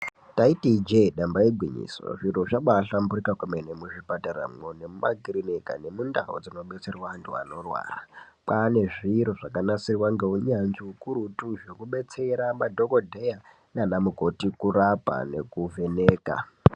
Ndaiti Ije damba igwinyiso zviro zvabahlamburuka kwemene muzvipataramo nekumakiriniki nekundau dzinobetserwa antu anorwara kwane zviro zvakanasirwa neunyanzvi ukurutu zvekudetsera madhokodheya nana mukoti kurapa nekuvheneka.